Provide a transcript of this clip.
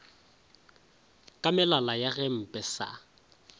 ka melala ya gempe sa